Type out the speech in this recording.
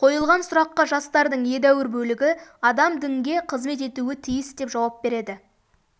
қойылған сұраққа жастардың едәуір бөлігі адам дінге қызмет етуі тиіс деп жауап береді